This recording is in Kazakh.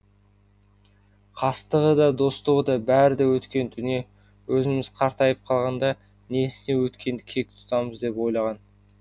қастығы да достығы да бәрі де өткен дүние өзіміз қартайып қалғанда несіне өткенді кек тұтамыз деп ойлаған